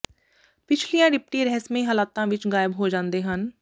ਪਿਛਲੀਆਂ ਡਿਪਟੀ ਰਹੱਸਮਈ ਹਾਲਾਤਾਂ ਵਿਚ ਗਾਇਬ ਹੋ ਜਾਂਦੇ ਹਨ